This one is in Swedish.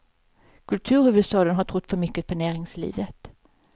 Kulturhuvudstaden har trott för mycket på näringslivet.